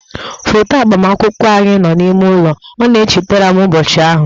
Foto agbamakwụkwọ anyị nọ n'ime ụlọ, ọ na-echeterem ụbọchị ahụ